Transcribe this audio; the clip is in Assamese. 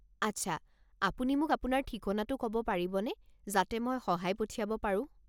আচ্ছা, আপুনি মোক আপোনাৰ ঠিকনাটো ক'ব পাৰিবনে যাতে মই সহায় পঠিয়াব পাৰো।